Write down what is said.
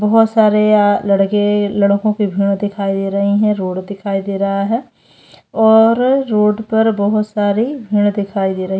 बहोत सारे लड़के लड़को के भी दिखाई दे रही है रोड दिखाई दे रहा है और रोड पर बहोत सारी भीड़ दिखाई दे रही है।